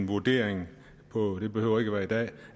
vurderet